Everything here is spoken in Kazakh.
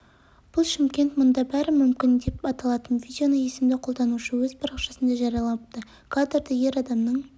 бұл шымкент мұнда бәрі мүмкін деп аталатын видеоны есімді қолданушы өз парақшасында жариялапты кадрда ер адамның